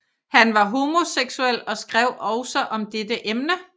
Han var homoseksuel og skrev også om dette emne